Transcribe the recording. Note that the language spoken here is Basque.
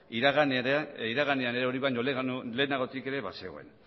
iraganean ere hori baino lehenagotik ere bazegoen